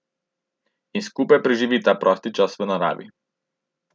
In skupaj preživita prosti čas v naravi.